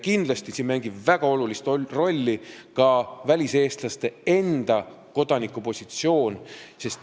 Kindlasti mängib siin väga olulist rolli ka väliseestlaste enda kodanikupositsioon.